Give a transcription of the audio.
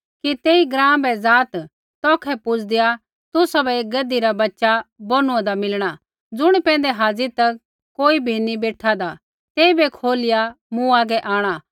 कि तेई ग्राँ बै ज़ाआत् तौखै पूजदेआ तुसाबै एक गधी रा बच्च़ा बौनूआन्दा मिलणा ज़ुणी पैंधै हाज़ी तक कोई भी नी बेठादा तेइबै खोलिया मूँ हागै आंणा